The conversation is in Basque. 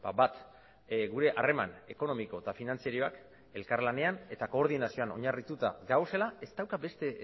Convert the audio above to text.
bat gure harreman ekonomiko eta finantzarioak elkarlanean eta koordinazioan oinarrituta daudela ez dauka beste